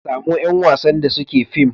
samo yan wasn da suke film